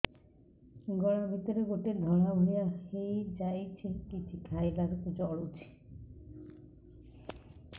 ଗଳା ଭିତରେ ଗୋଟେ ଧଳା ଭଳିଆ ହେଇ ଯାଇଛି କିଛି ଖାଇଲାରୁ ଜଳୁଛି